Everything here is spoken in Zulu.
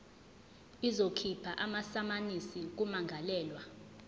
izokhipha amasamanisi kummangalelwa